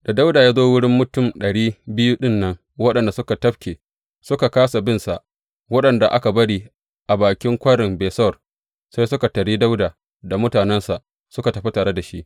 Da Dawuda ya zo wurin mutum ɗari biyu ɗin nan waɗanda suka tafke, suka kāsa binsa, waɗanda aka bari a bakin Kwarin Besor, sai suka taryi Dawuda da mutanensa da suka tafi tare da shi.